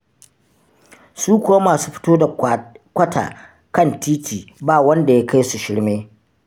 Su kuwa masu fito da kwata kan titi ba wanda ya kai su shirme.